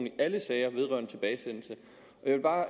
i alle sager vedrørende tilbagesendelse jeg vil bare